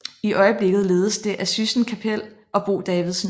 I øjeblikket ledes det af Syssen Kappel og Bo Davidsen